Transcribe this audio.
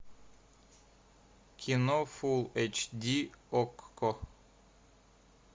кино фул эйч ди окко